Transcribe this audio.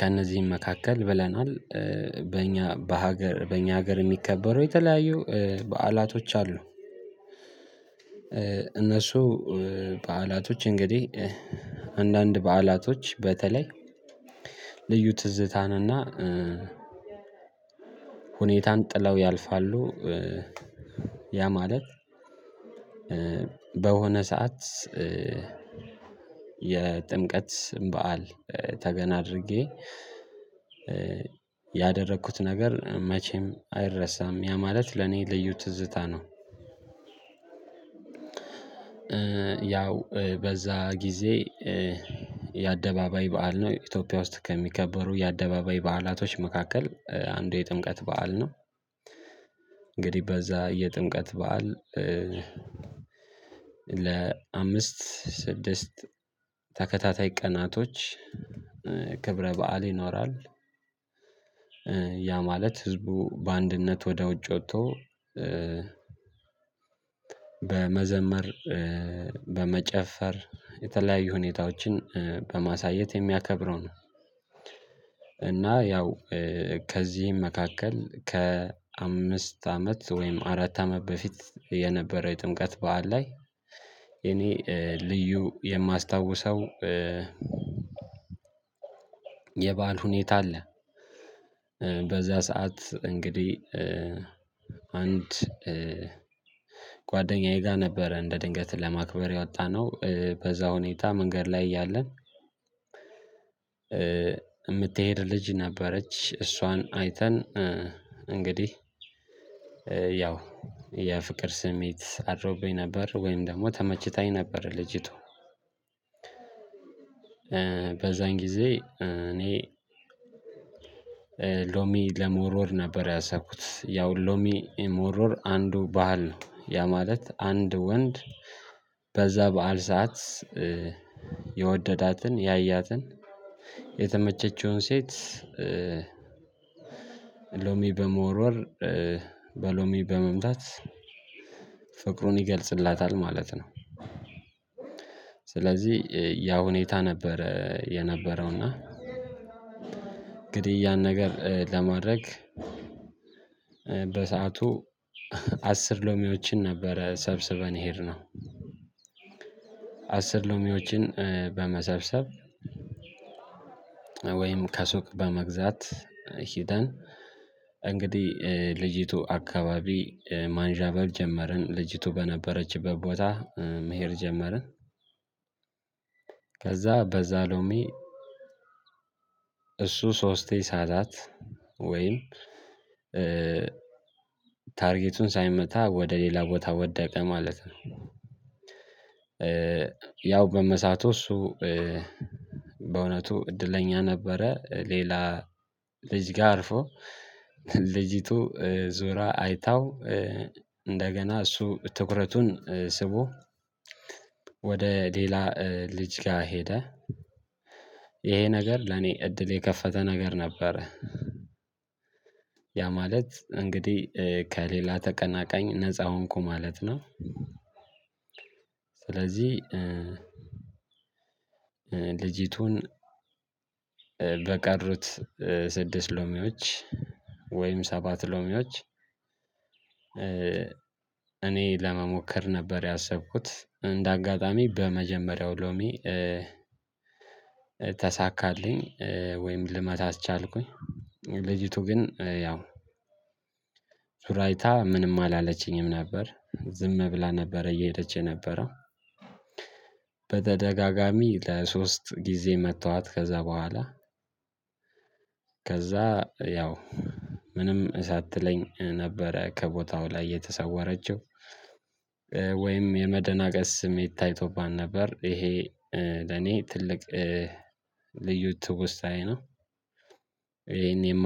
ከእነዚህም መካከል ብለናል በእኛ በሀገር በእኛ ሀገር የሚከበሩ የተለያዩ በዓላቶች አሉ። እነሱ በዓላቶች እንግዲህ አንዳንድ በዓላቶች በተለይ ልዩ ትዝታንና ሁኔታን ጥለው ያልፋሉ። ያ ማለት በሆነ ሰዓት የጥምቀት በዓል ተገን አድርጌ ያደረኩት ነገር መቼም አይረሳም። ያ ማለት ለኔ ልዩ ትዝታ ነው። ያው በዛ ጊዜ የአደባባይ በዓል ነው ኢትዮጵያ ውስጥ ከሚከበሩ የአደባባይ በዓላቶች መካከል አንዱ የጥምቀት በዓል ነው። እንግዲህ በዛ የጥምቀት በዓል ለአምስት ስድስት ተከታታይ ቀናቶች ክብረ በዓል ይኖራል። ያ ማለት ህዝቡ በአንድነት ወደ ውጭ ወጥቶ በመዘመር በመጨፈር የተለያዩ ሁኔታዎችን በማሳየት የሚያከብረው ነው። እና ያው ከዚህም መካከል ከ አምስት አመት ወይም አራት አመት በፊት የነበረ የጥምቀት በዓል ላይ እኔ ልዩ የማስታውሰው የባል ሁኔታ አለ። በዛ ሰዓት እንግዲህ አንድ ጓደኛየ ጋ ነበረ እንደ ድንገት ለማክበር የወጣነው በዛ ሁኔታ መንገድ ላይ እያለን። የምትሄድ ልጅ ነበረች እሷን አይተን እንግዲህ ያው የፍቅር ስሜት አድሮብኝ ነበር ወይም ደግሞ ተመችታኝ ነበር ልጅቱ። በዛን ጊዜ እኔ ሎሚ ለመወርወር ነበር ያሰብኩት ያው ሎሚ መወርወር አንዱ ባህል ነው ያ ማለት አንድ ወንድ በዛ በዓል ሰዓት የወደዳትን ያያትን የተመቸችውን ሴት። ሎሚ በመወርወር በሎሚ በመምታት ፍቅሩን ይገልፅላታል ማለት ነው። ስለዚህ ያ ሁኔታ ነበር የነበረውና። እንግዲህ ያን ነገር ለማድረግ በሰአቱ አስር ሎሚዎችን ነበረ ሰብስበን የሄድነው ነው አስር ሎሚዎችን በመሰብሰብ። ወይም ከሱቅ በመግዛት ሂደን እንግዲህ ልጅቱ አካባቢ ማንዣበብ ጀመርን ልጅቱ በነበረችበት ቦታ መሄድ ጀመርን። በዛ ሎሚ እሱ ሶስቴ ሳታት ወይም ታርጌቱን ሳይመታ ወደ ሌላ ቦታ ወደቀ ማለት ነው። ያው በመሳቱ እሱ በእውነቱ እድለኛ ነበረ ሌላ ልጅ ጋ አልፎ ልጅቱ ዙራ አይታው። እንደገና እሱ ትኩረቱን ስቦ ወደ ሌላ ልጅ ጋ ሄደ። ይሄ ነገር ለኔ እድል የከፈተ ነገር ነበረ። ያ ማለት እንግዲህ ከሌላ ተቀናቃኝ ነፃ ሆንኩ ማለት ነው። ስለዚህ ልጅቱን በቀሩት ስድስት ሎሚዎች ወይም ሰባት ሎሚዎች። እኔ ለመሞከር ነበር ያሰብኩት እንደ አጋጣሚ በመጀመሪያው ሎሚ ተሳካልኝ ወይም ልመታትቻልኩኝ ልጅቱ ግን ያው ዙራ አይታ ምንም አላለችኝም ነበር። ዝም ብላ ነበረ እየሄደች የነበረው። በተደጋጋሚ ለሶስት ግዜ መታሃት ከዛ በሃላ። ከዛ ያው ምንም ሳትለኝ ነበረ ከቦታው ላይ የተሰወረችው። ወይም የመደናገጥ ስሜት ታይቶባት ነበር። ይሄ ለኔ ትልቅ ልዩ ትውስታዬ ነው።